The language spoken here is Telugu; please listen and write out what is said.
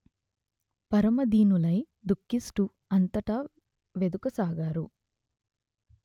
పరమ దీనులై దుఃఖిస్తూ అంతటా వెదుకసాగారు